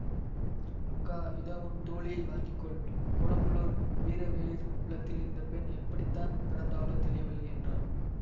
அக்கா இதோ உன் தோழியை வாங்கிக்கொள் கொடும்பளூர் வீரவேளிர் குலத்தில் இந்த பெண் எப்படி தான் பிறந்தாளோ தெரியவில்லை என்றான்